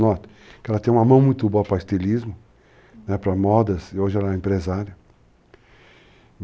Noto que ela tem uma mão muito boa para estilismo, para modas, e hoje ela é empresária.